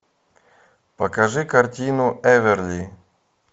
покажи картину эверли